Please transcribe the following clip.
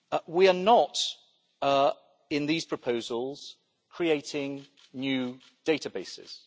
We are not, in these proposals, creating new databases.